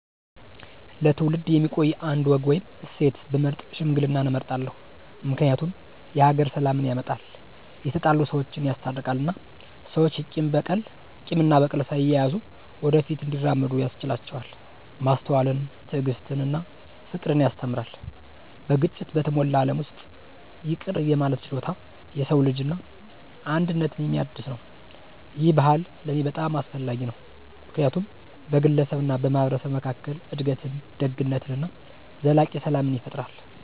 ለትውልድ የሚቆይ አንድ ወግ ወይም እሴት ብመርጥ ሽምግልናን እመርጣለሁ። ምክንያቱም የሀገር ሰላምን ያመጣል፣ የተጣሉ ሰወችን ያስታርቃል እና ሰዎች ቂም እና በቀል ሳይያዙ ወደ ፊት እንዲራመዱ ያስችላቸዋል። ማስተዋልን፣ ትዕግስትን እና ፍቅርን ያስተምራል። በግጭት በተሞላ ዓለም ውስጥ ይቅር የማለት ችሎታ የሰው ልጅን እና አንድነትን የሚያድስ ነው። ይህ ባህል ለእኔ በጣም አስፈላጊ ነው ምክንያቱም በግለሰብ እና በማህበረሰብ መካከል እድገትን፣ ደግነትን እና ዘላቂ ሰላም ይፈጥራል።